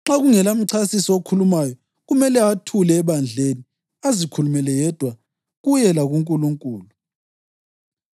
Nxa kungelamchasisi, okhulumayo kumele athule ebandleni, azikhulumele yedwa, kuye lakuNkulunkulu.